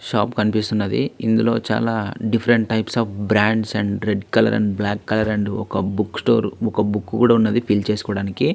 Shop కనిపిస్తున్నది. ఇందులో చాలా different types of brands and red colour and black colour and ఓ బుక్ స్టోర్ ఆ బుక్ కూడా ఉన్నది. ఫిల్ చేసుకోవడానికి.